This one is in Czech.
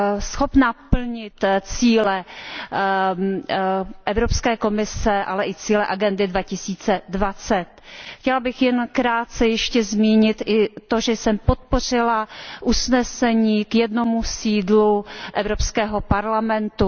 schopna plnit cíle Evropské komise ale i cíle Agendy 2020. Chtěla bych jen krátce ještě zmínit i to, že jsem podpořila usnesení o jediném sídle Evropského parlamentu.